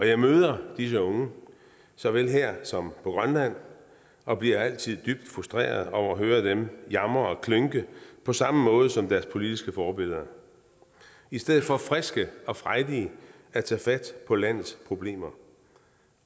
jeg møder disse unge såvel her som på grønland og bliver altid dybt frustreret over at høre dem jamre og klynke på samme måde som deres politiske forbilleder i stedet for friske og frejdige at tage fat på landets problemer